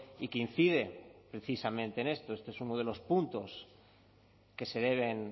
y que incide precisamente en esto este es uno de los puntos que se deben